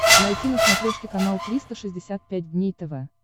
найти на смотрешке канал триста шестьдесят пять дней тв